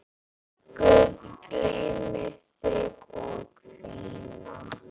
Guð geymi þig og þína.